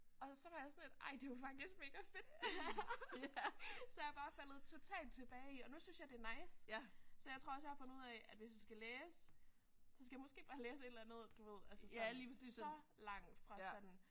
Og så var jeg sådan lidt ej det jo faktisk megafedt. Så jeg er bare faldet totalt tilbage i og nu synes jeg det er nice. Så jeg tror også jeg har fundet ud af at hvis jeg skal læse så skal jeg måske bare læse et eller andet du ved så langt fra sådan